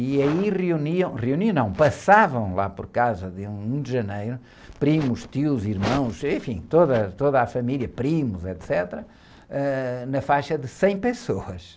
E aí reuniam, reuniam não, passavam lá por casa, dia um janeiro, primos, tios, irmãos, enfim, toda, toda a família, primos, etecetera, ãh, na faixa de cem pessoas.